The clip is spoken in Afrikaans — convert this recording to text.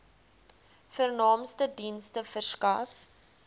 vernaamste dienste verskaf